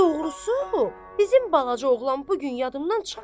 Doğrusu, bizim balaca oğlan bu gün yadımdan çıxmır.